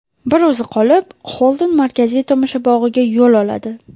Bir o‘zi qolib, Xolden markaziy tomoshabog‘ga yo‘l oladi.